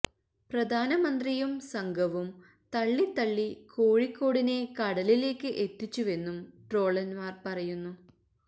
പ്രധാനമന്ത്രിയും സംഘവും തള്ളി തള്ളി കോഴിക്കോടിനെ കടലിലേക്ക് എത്തിച്ചുവെന്നും ട്രോളന്മാർ പറയുന്നു